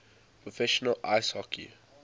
professional ice hockey